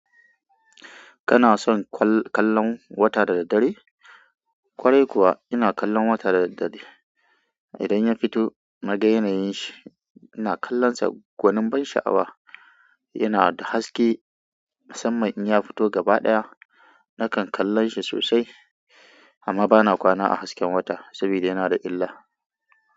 Kana son kallon wata da da daddare? Kwarai kuwa ina kallon wata da daddare. Idan ya fito na ga yanayin shi, ina kallon sa gwanin ban sha'awa. Yana da haske, musamman in ya fito gaba ɗaya nakan kallon shi sosai amma bana kwana a hasken wata saboda yana da illa.